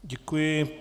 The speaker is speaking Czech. Děkuji.